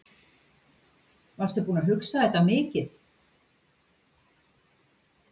Varstu búinn að hugsa þetta mikið?